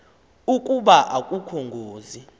ukuba akukho ngozi